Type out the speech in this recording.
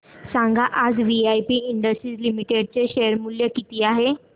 सांगा आज VIP Industries Limited चे शेअर चे मूल्य किती आहे